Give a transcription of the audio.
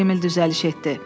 Emil düzəliş etdi.